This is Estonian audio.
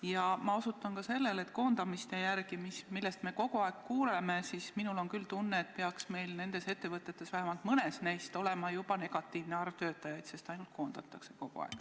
Ja ma osutan ka sellele, et koondamiste arvu järgi, millest me kogu aeg kuuleme, on minul küll tunne, et meil peaks nendes ettevõtetes, vähemalt mõnes neist, olema juba negatiivne arv töötajaid – kogu aeg ainult koondatakse.